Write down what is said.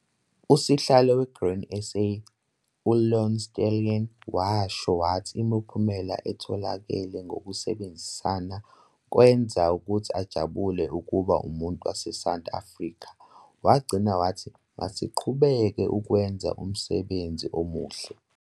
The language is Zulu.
"Usihlalo seGrain SA, uLouw Steytler, washo wathi imiphumelo etholakale ngokusebenzisana kwenza ukuthi ajabule ukuba umuntu waseSouth Afrika. Wagcina wathi- 'Masiqhubeke ukwenza umsebenzi omuhle".